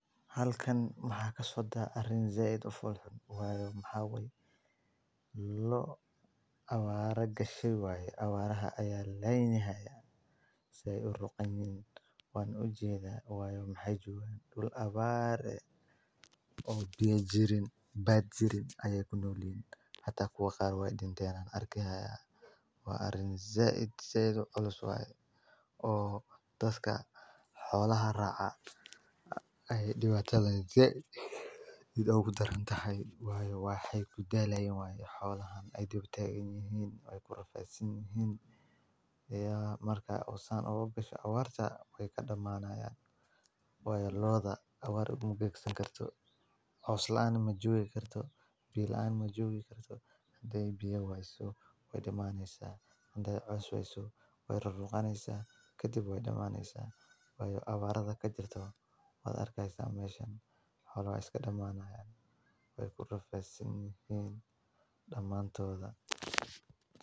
Halkan maxaaka socda arrin zayd u folhun. Waynambaa way la awaaray gashay waaye awaar ahaa ayaa laynihaya sayd u ruqaniin. Way u jeedhay way u xajoon dul abaare oo biyo jirin badh jirin ayey ku noolin hata kuwa qaar way dinteen arki ahaayay. Way arrin zayd sayd ololos waaye oo daska xoolaha raaca ay dhawaan jallay zayd idagu darantahay waayo waaxay ku daalayn waayo xoolahan ay dib u taegn yahiin way ku rafeesin yahiin. Markay usnaan ugu bisha awaarta way ka dhamaanayaan way looda awaar uga gugsi kartaa. U salaam joogi karto bilaan ma joogi karto day bio waysu way dhammaynaysa day cosway su way raqaynsa khatib way dhammaynaysa way awaarta ka jirto wada arkaysa maeshan hawl way iska dhammaanayaan way ku rafeesin yahiin dhammaantooda.